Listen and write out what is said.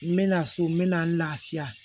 N mɛna so n mɛna n lafiya